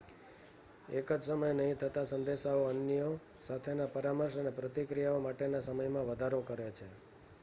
એક જ સમયે નહીં થતા સંદેશાઓ અન્યો સાથેના પરામર્શ અને પ્રતિક્રિયાઓ માટેના સમયમાં વધારો કરે છે